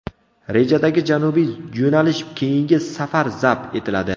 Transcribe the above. Rejadagi janubiy yo‘nalish keyingi safar zabt etiladi.